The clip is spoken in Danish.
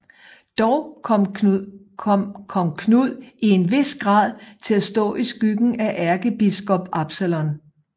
Dog kom kong Knud i en vis grad til at stå i skyggen af ærkebiskop Absalon